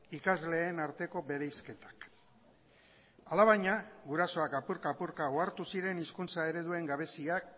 ikasleen arteko bereizketak alabaina gurasoak apurka apurka ohartu ziren hizkuntza ereduen gabeziak